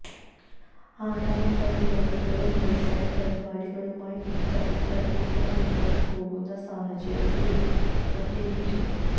ആണവ പരിപാടികളും മിസൈല് പരിപാടികളുമായി ഉത്തരകൊറിയ മുന്നോട്ട് പോകുന്ന സാഹചര്യത്തില് പ്രത്യേകിച്ചും